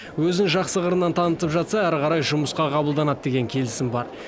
өзін жақсы қырынан танытып жатса әрі қарай жұмысқа қабылданады деген келісім бар